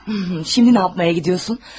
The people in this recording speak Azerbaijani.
Hım, indi nə etməyə gedirsən?